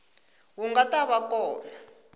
wu nga ta va kona